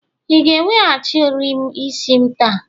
ị ka ga-eweghachi ohiri isi'm taa?